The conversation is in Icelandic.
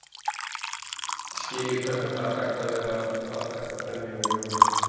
Ég skil ekki hvernig það er hægt að vera að drekka brennivín á jólunum.